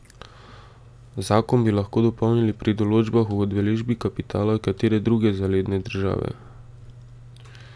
Zakon bi lahko dopolnili pri določbah o udeležbi kapitala katere druge zaledne države.